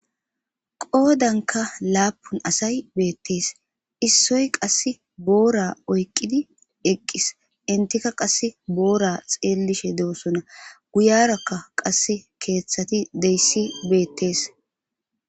qoodanka laapun asay beettees issoy qass boora oyqqidi eqqis intikka qass boora xeellishe doosona guyarakka qas keeththati deyssi beettees